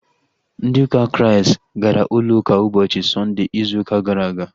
Ndị ụka Kraịst gara ụlọ ụka ụbọchị Sọnde ịzụ ụka gara aga